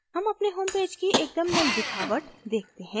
home अपने homepage की एकदम नयी दिखावट देखते हैं